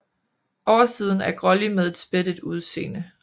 Oversiden er grålig med et spættet udseende